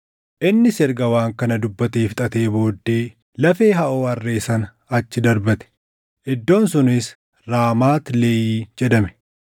Innis erga waan kana dubbatee fixatee booddee lafee haʼoo harree sana achi darbate; iddoon sunis Raamaat Leehii jedhame.